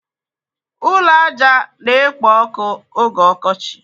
Ụlọ ájá na-ekpo ọkụ oge ọkọchị.